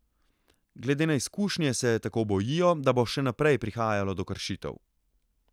Glede na izkušnje se tako bojijo, da bo še naprej prihajalo do kršitev.